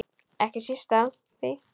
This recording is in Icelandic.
Ekki síst af því.